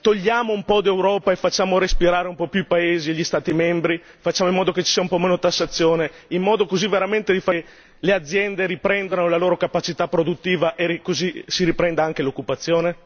Non è il caso che magari togliamo un po' d'Europa e facciamo respirare un po' di più i paesi e gli Stati membri, facciamo in modo che ci sia un po' meno tassazione, per fare in modo che le aziende riprendano la loro capacità produttiva e così si riprenda anche l'occupazione?